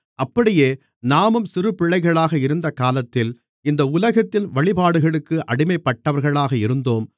அப்படியே நாமும் சிறுபிள்ளைகளாக இருந்தகாலத்தில் இந்த உலகத்தின் வழிபாடுகளுக்கு அடிமைப்பட்டவர்களாக இருந்தோம்